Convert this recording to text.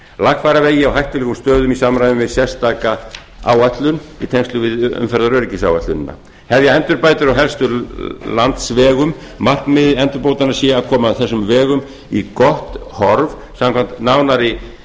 lagfæra vegi á hættulegum stöðum í samræmi við sérstaka áætlun í tengslum við umferðaröryggisáætlunina hafa endurbætur á helstu landsvegum markmið endurbótanna sé að koma þessum vegum í gott horf samkvæmt nánari